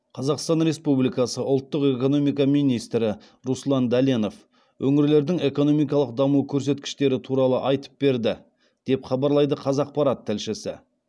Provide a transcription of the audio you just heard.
қазақстан республикасы ұлттық экономика министрі руслан дәленов өңірлердің экономикалық даму көрсеткіштері туралы айтып берді деп хабарлайды қазақпарат тілшісі